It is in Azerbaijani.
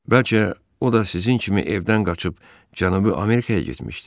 Bəlkə o da sizin kimi evdən qaçıb Cənubi Amerikaya getmişdi.